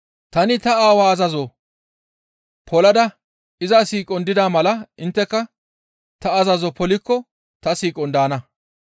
Tani ta Aawaa azazo polada iza siiqon dida mala intteka ta azazo polikko ta siiqon daana.